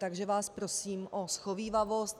Takže vás prosím o shovívavost.